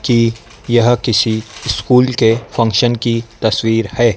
कि यह किसी स्कूल के फंक्शन की तस्वीर है।